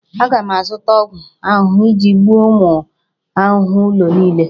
Aga m azụta ọgwụ ahụhụ iji gbuo ụmụ ahụhụ ụlọ niile